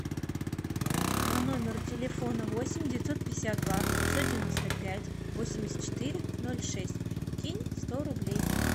по номеру телефона восемь девятьсот пятьдесят два пятьсот девяносто пять восемьдесят четыре ноль шесть кинь сто рублей